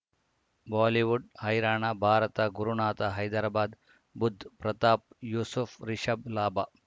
Bollywood ಹೈರಾಣ ಭಾರತ ಗುರುನಾಥ ಹೈದರಾಬಾದ್ ಬುಧ್ ಪ್ರತಾಪ್ ಯೂಸುಫ್ ರಿಷಬ್ ಲಾಭ